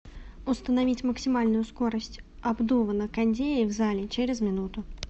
установить максимальную скорость обдува на кондее в зале через минуту